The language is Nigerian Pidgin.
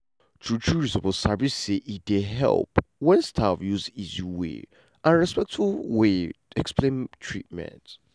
true true you suppose sabi say e dey help when staff use easy way and respectful way explain treatment.